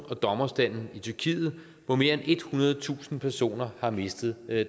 og dommerstanden i tyrkiet hvor mere end ethundredetusind personer har mistet